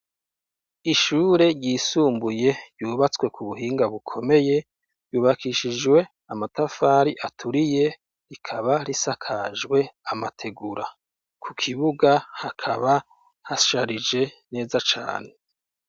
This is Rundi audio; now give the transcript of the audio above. Ishure ryisumbuye ryubatswe ku buhinga bukomeye, ryubakishujwe amatafari aturiye rikaba risakajwe amategura. Ku kibuga hakaba hasharije neza cane.